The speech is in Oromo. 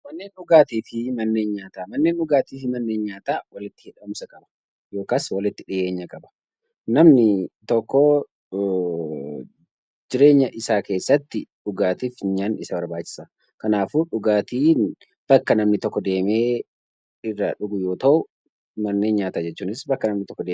Manni dhugaatii fi manneen nyaataa walitti hidhumsa qaba. Yookaan walitti dhiyeenya qaba. Namni tokko jireenya isaa keessatti dhugaatii fi nyaanni Isa barbaachisa. Kanaafuu dhugaatiin bakka namni tokko deemee irraa dhugu yoo ta'u, manneen nyaataa jechuunis bakka namni nyaatudha